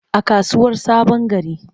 A kasuwar sabongari.